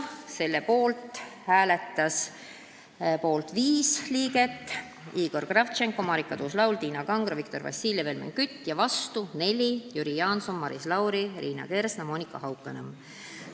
Selle poolt hääletas viis liiget – Igor Kravtšenko, Marika Tuus-Laul, Tiina Kangro, Viktor Vassiljev, Helmen Kütt – ja vastu neli: Jüri Jaanson, Maris Lauri, Liina Kersna, Monika Haukanõmm.